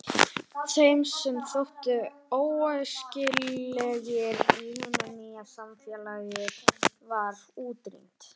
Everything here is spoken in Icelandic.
Þeim sem þóttu óæskilegir í hinu nýja samfélagi var útrýmt.